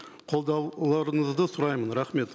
қолдауларыңызды сұраймын рахмет